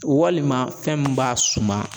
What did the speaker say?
Walima fɛn min b'a suma